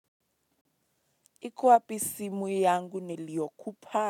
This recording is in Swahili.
Iko wapi simu yangu niliokupa.